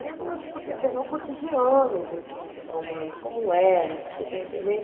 Aí eu começo a pegar o cotidiano desse desses romanos, como era, você está entendendo?